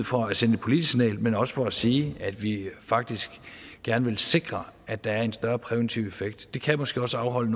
for at sende et politisk signal men også for at sige at vi faktisk gerne vil sikre at der er en større præventiv effekt det kan måske også afholde